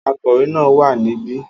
Akọ̀wé náà wà níbí